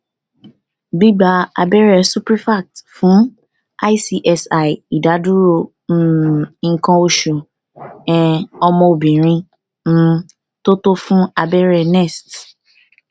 gbigba abẹrẹ suprefact fun icsi idaduro um ikan osu um omo obirin um to to fun abẹrẹ nest